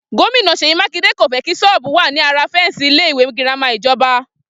Gómìnà Sèyí Mákindé kò fé kí sọ́ọ́bù wà ní ara féǹsì ilé ìwé girama ìjọba